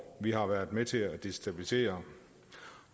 vi har været med til at destabilisere